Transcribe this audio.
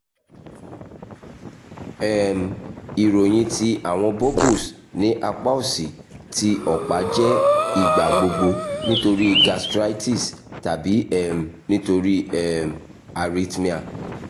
um iroyin ti awọn bubbles ni apa osi ti ọpa jẹ igbagbogbo nitori gastritis tabi um nitori um arithmia